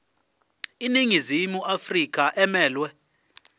iningizimu afrika emelwe